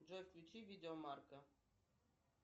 джой включи видео марка